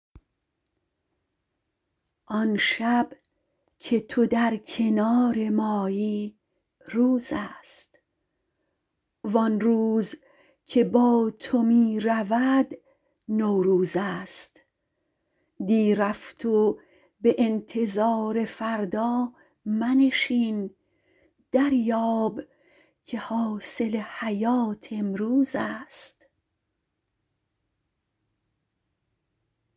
آن شب که تو در کنار مایی روزست و آن روز که با تو می رود نوروزست دی رفت و به انتظار فردا منشین دریاب که حاصل حیات امروزست